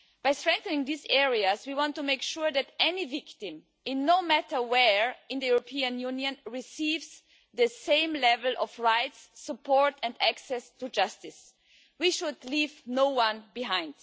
By strengthening these areas, we want to make sure that any victim, no matter where in the European Union, receives the same level of rights, support and access to justice. We should leave no one behind.